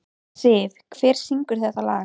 Siv, hver syngur þetta lag?